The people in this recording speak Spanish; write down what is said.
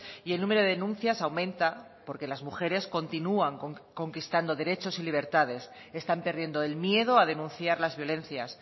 y el número de denuncias aumenta porque las mujeres continúan conquistando derechos y libertades están perdiendo el miedo a denunciar las violencias